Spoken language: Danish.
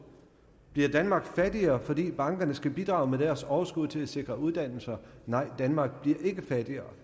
bliver danmark fattigere fordi bankerne skal bidrage med deres overskud til at sikre uddannelser nej danmark bliver ikke fattigere